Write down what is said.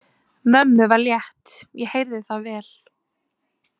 Mömmu var létt, ég heyrði það vel.